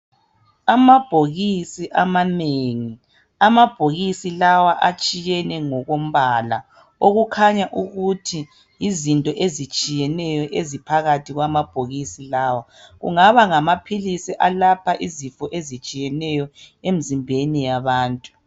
Amabhokisi amanengi. Amabhokisi lawa atshiyene ngokombala okukhanya ukuthi yizinto ezitshiyeneyo eziphakathi kwamabhokisi lawa, kungaba ngamaphilisi alapha izifo ezitshiyeneyo emzimbeni yabantu.